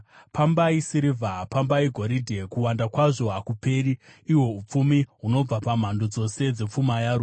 Pambai sirivha! Pambai goridhe! Kuwanda kwazvo hakuperi, ihwo upfumi hunobva pamhando dzose dzepfuma yaro!